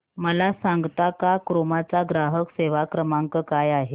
मला सांगता का क्रोमा चा ग्राहक सेवा क्रमांक काय आहे